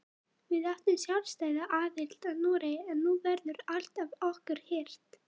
Við áttum sjálfstæða aðild að Noregi en nú verður allt af okkur hirt.